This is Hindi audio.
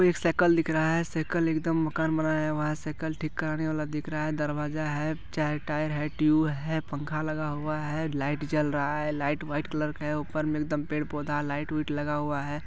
एक सायकल दिख रहा है सायकल एकदम मगन बनाने वाला है सायकल ठीक करने वाला दिख रहा है दरवाजा है चार टायर है ट्यूब है पंखा लगा हुआ है लाइट जल रहा है लाईट व्हाइट कलर का है उपर में एक दम पेड़ पौधा लाईट वाइट लगा हुआ है।